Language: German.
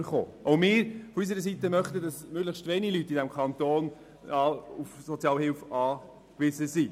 Auch wir Linken möchten, dass weniger Leute auf Sozialhilfe angewiesen sind.